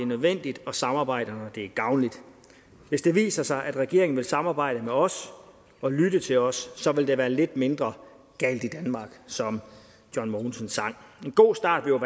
nødvendigt og samarbejder når det er gavnligt hvis det viser sig at regeringen vil samarbejde med os og lytte til os så vil der være lidt mindre galt i danmark som john mogensen sang en god start vil